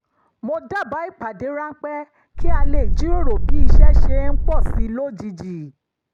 mo dábàá ìpdàdé ránpẹ́ kí a lè jíròrò bí iṣẹ́ ṣe ń pọ̀ sí i lójijì